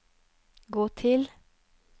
gå til